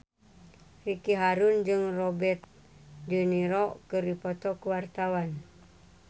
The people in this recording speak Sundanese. Ricky Harun jeung Robert de Niro keur dipoto ku wartawan